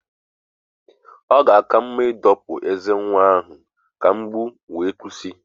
Ọ ga-aka mma ịdọpụ ezé nwa ahụ ka mgbu wee kwụsị.